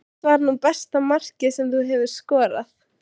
Hvert var nú besta markið sem þú hefur skorað?